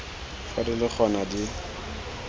fa di le gona di